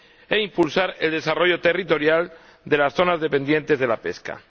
e impulsar el desarrollo territorial de las zonas dependientes de la pesca.